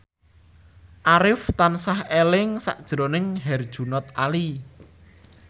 Arif tansah eling sakjroning Herjunot Ali